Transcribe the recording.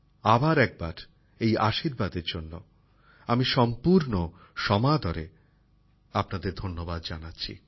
আবার একবার এই আশীর্বাদের জন্য আমি সম্পূর্ণ সমাদরে আপনাদের ধন্যবাদ জানাচ্ছি